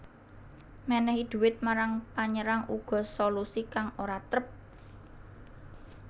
Mènèhi duwit marang panyerang uga solusi kang ora trep